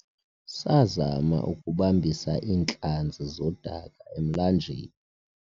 sazama ukubambisa iintlanzi zodaka emlanjeni